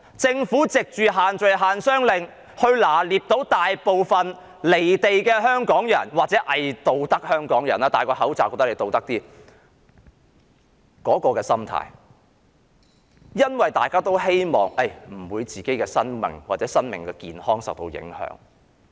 政府藉限聚令及限商令抓緊大部分"離地"港人或偽道德香港人的心態——他們佩戴了口罩，便以為自己有道德——希望自己的生命或健康不受影響。